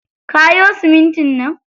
Kayo simintin nan.